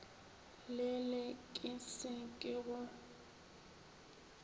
lele ke se ke o